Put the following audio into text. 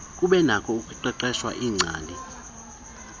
kubenakho ukuqeqeshwa iingcali